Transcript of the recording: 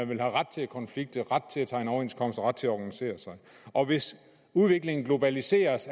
vil have ret til at konflikte ret til at tegne overenskomster og ret til at organisere sig og hvis udviklingen globaliseres